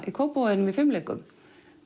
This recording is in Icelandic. í Kópavoginum í fimleikum